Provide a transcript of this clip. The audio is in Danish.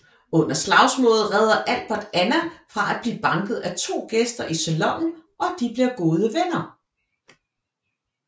Under slagsmålet redder Albert Anna fra at blive banket af to gæster i salonen og de bliver gode venner